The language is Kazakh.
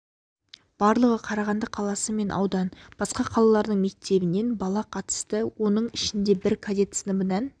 барлығы қарағанды қаласы мен аудан және басқа қалалардың мектебінен бала қатысты оның ішінде бір кадет сыныбынан